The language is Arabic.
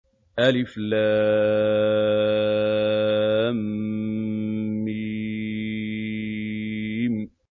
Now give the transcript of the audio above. الم